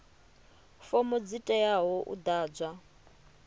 fomo dzi teaho u ḓadzwa